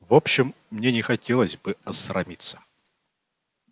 в общем мне не хотелось бы осрамиться